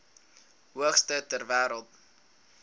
hoogste ter wêreld